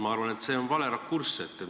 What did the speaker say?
Ma arvan, et see on vale rakurss.